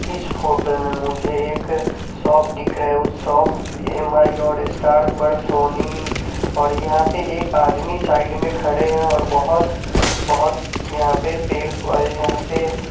इस फोटो में मुझे एक शॉप दिखरा है उस शॉप एम_आई_ओ स्टार सोनी और यहाँ पे एक आदमी साइड में खड़े है और बोहोत बोहोत यहाँ पे पेड़ यहाँ पे --